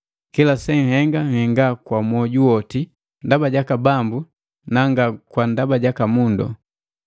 Kila senhenga, nhenga kwa mwoju woti, ndaba jaka Bambu na nga kwa ndaba jaka mundu.